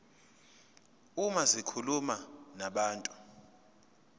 uma zikhuluma nabantu